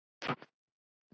og jafnvel sjálfra sín.